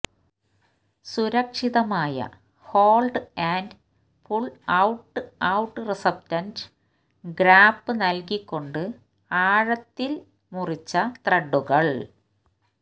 സുരക്ഷിതമായ hold and pull out out റിസപ്റ്റന്റ് ഗ്രാപ്പ് നൽകിക്കൊണ്ട് ആഴത്തിൽ ആഴത്തിൽ മുറിച്ച ത്രെഡുകൾ